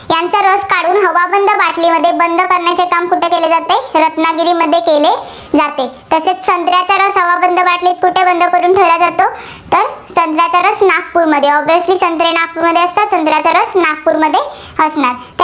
बाटलीमध्ये बंद करण्याचे काम कुठे केले जाते? रत्नागिरीमध्ये केले जाते. तसेच संत्र्याचा रस हवाबंद बाटलीत कुठे बंद करून ठेवला जातो? तर संत्र्याचा रस नागपूरमध्ये. obviously संत्रे नागपूरमध्ये असतात, संत्र्याचा रस नागपूरमध्ये असणार.